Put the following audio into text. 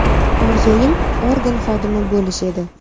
Orzum organ xodimi bo‘lish edi.